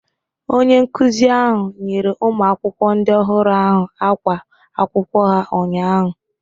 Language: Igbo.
Onye nkuzi ahụ nyere ụmụakwụkwọ ndị ọhụrụ ahụ ákwá akwụkwọ ha ụnyaahụ.